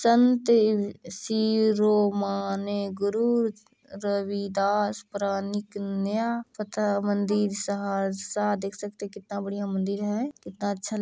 संत शिरोमणि गुरु रविदास प्राणिकनया पता मंदिर सहरसा देख सकते हैं कितना बढ़िया मंदिर है कितना अच्छा --